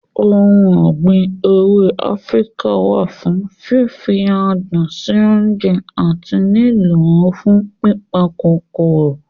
Ohun ọ̀gbìn ewé Áfíríkà wà fún fífi adùn sí oúnjẹ àti lílọ̀ fún pípa kòkòrò.